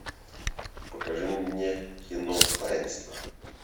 покажи мне кино таинство